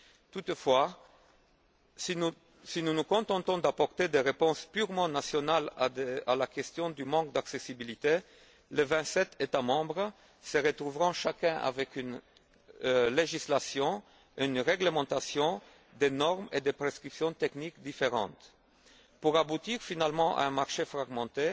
Toutefois, si nous nous contentons d'apporter des réponses purement nationales à la question du manque d'accessibilité, les vingt sept États membres se retrouveront chacun avec une législation, une réglementation, des normes et des prescriptions techniques différentes, pour aboutir finalement à un marché fragmenté